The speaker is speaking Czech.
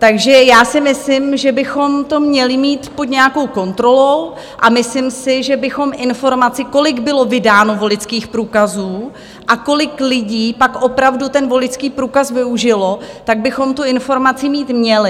Takže já si myslím, že bychom to měli mít pod nějakou kontrolou, a myslím si, že bychom informaci, kolik bylo vydáno voličských průkazů a kolik lidí pak opravdu ten voličský průkaz využilo, tak bychom tu informaci mít měli.